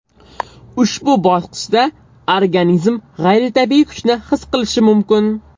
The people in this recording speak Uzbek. Ushbu bosqichda organizm g‘ayritabiiy kuchni his qilishi mumkin.